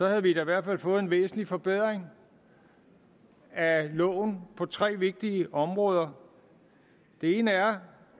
havde vi da i hvert fald fået en væsentlig forbedring af loven på tre vigtige områder det ene er